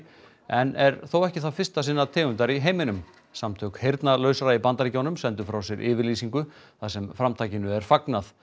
en er þó ekki það fyrsta sinnar tegundar í heiminum samtök heyrnalausra í Bandaríkjunum sendu frá sér yfirlýsingu þar sem framtakinu er fagnað